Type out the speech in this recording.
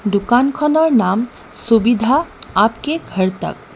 দোকানখনৰ নাম ছবিধা আপকে ঘৰ তক।